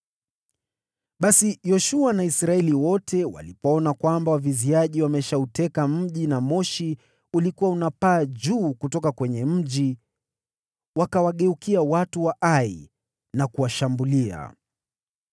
Basi Yoshua na Israeli wote walipoona kwamba waviziaji wameshauteka mji na moshi ulikuwa unapaa juu kutoka kwenye mji, wakawageukia watu wa Ai na kuwashambulia.